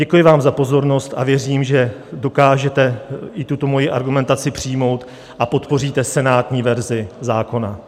Děkuji vám za pozornost a věřím, že dokážete i tuto moji argumentaci přijmout, a podpoříte senátní verzi zákona.